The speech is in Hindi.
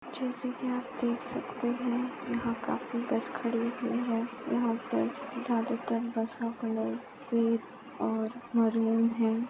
जैसे के आप देख सकते है यहा काफी बस खडी हुई है यहा पर ज्यादातर बस का कलर रेड और मरूम है।